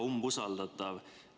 Hea umbusaldatav!